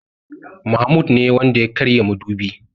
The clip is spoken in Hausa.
Mahmoud ne Wanda ya karya madubi.